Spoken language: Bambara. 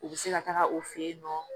U bɛ se ka taga u fɛ yen nɔ